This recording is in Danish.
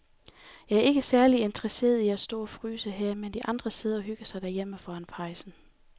Jeg er ikke særlig interesseret i at stå og fryse her, mens de andre sidder og hygger sig derhjemme foran pejsen.